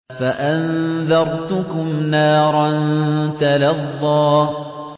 فَأَنذَرْتُكُمْ نَارًا تَلَظَّىٰ